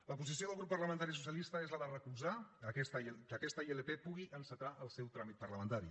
la posició del grup parlamentari socialista és la de recolzar que aquesta ilp pugui encetar el seu tràmit parlamentari